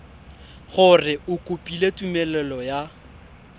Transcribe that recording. gore o kopile tumelelo ya